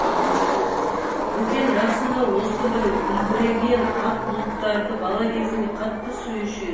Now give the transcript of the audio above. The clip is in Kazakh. бөкен расында осы бір үлбіреген ақ бұлттарды бала кезінде қатты сүюші еді